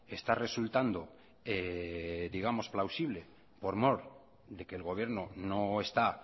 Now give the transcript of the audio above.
está resultando digamos plausible por mor de que el gobierno no está